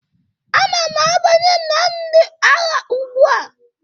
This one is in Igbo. Ana m abanye na ndị agha ugbu a